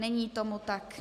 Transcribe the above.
Není tomu tak.